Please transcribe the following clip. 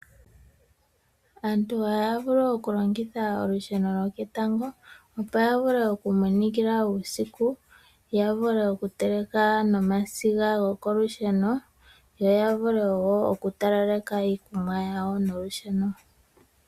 Aantu ohaya vulu okulongitha olusheno lwoketango opo yavule oku minikila uusiku , yavule oku teleka nomasiga gokolusheno , yoyavule oku talelapo iikunwa yawo nolusheno.